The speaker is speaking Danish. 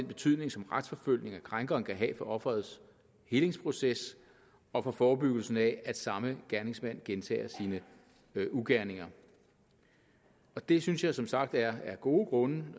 betydning som en retsforfølgning af krænkeren kan have for offerets helingsproces og for forebyggelsen af at samme gerningsmand gentager sine ugerninger det synes jeg som sagt er gode grunde